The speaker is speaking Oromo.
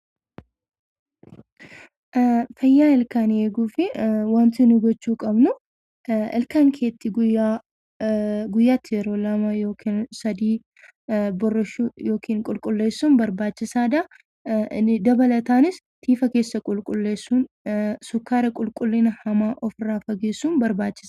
Fayyaa ilkaanii eeguuf waanti nuyi gochuu qabnu ilkaan kee guyyaatti yeroo lama yookiin sadii boorrashuu yookiin qulqulleessuun barbaachisaadha. Dabalataanis isa keessa qulqulleessuun sukkeera qulqullina hamaa ofirraa fageessuun barbaachisaadha.